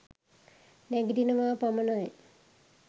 නැගිටිනවා පමණයි.